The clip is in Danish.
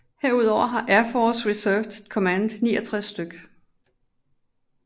Herudover har Air Force Reserve Command 69 stk